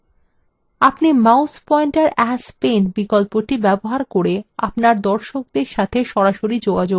আপনি mouse pointer as pen বিকল্পটি ব্যবহার করে আপনার দর্শকদের সাথে যোগাযোগ রাখতে পারবেন